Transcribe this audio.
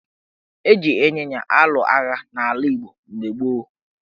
Eji ịnyịnya alụ agha n' ala Igbo mgbe gboo.